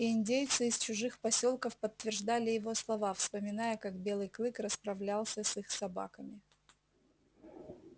и индейцы из чужих посёлков подтверждали его слова вспоминая как белый клык расправлялся с их собаками